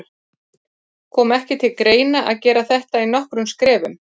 Kom ekki til greina að gera þetta í nokkrum skrefum?